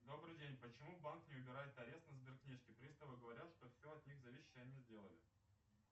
добрый день почему банк не убирает арест на сберкнижке приставы говорят что все от них зависящее они сделали